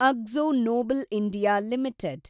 Akzo Nobel India limited